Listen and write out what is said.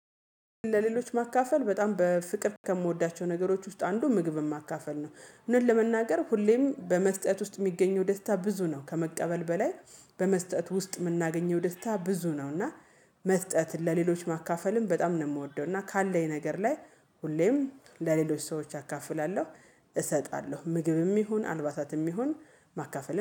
ለሌሎች ማካፈል በጣም በፍቅር ከምወዳቸው ነገሮች ውስጥ አንዱ ምግብን ማካፈል ነው። እውነት ለመናገር ሁሌም በመስጠት ውስጥ የሚገኘው ደስታ ብዙ ነው ከመቀበል በላይ በመስጠት ውስጥ የምናገኘው ደስታ ብዙ ነው። እና መስጠትን ለሌሎች ማካፈልም በጣም ነው የምወደው። እና ካለኝ ነገር ላይ ሁሌም ለሌሎች ሰዎች አካፍላለሁ እሰጣለሁ። ምግብም ይሁን አልባሳትም ይሁን ማካፈል